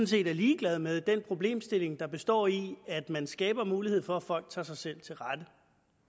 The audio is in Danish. set er ligeglad med den problemstilling der består i at man skaber mulighed for at folk tager sig selv til rette